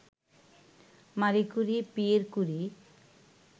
মারি Curie, Pierre কুরি